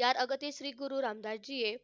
यात श्री गुरु रामदासजी हे,